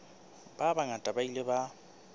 ba bangata ba ile ba